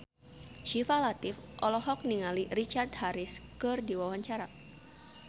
Syifa Latief olohok ningali Richard Harris keur diwawancara